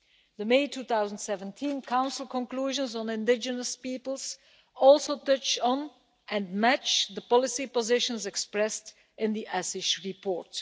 The May 2017 Council conclusions on indigenous peoples touch on and match the policy positions expressed in the Assis report.